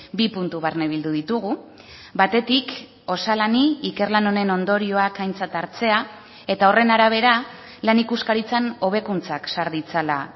bi puntu barnebildu ditugu batetik osalani ikerlan honen ondorioak aintzat hartzea eta horren arabera lan ikuskaritzan hobekuntzak sar ditzala